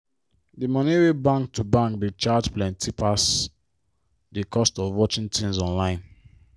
di money wey bank to bank dey charge plenti pass di cost of watching tins online.